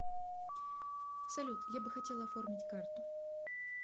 салют я бы хотела оформить карту